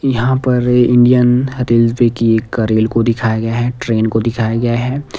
यहां पर Indian railway की एक रेल को दिखाया गया है ट्रेन को दिखाया गया है।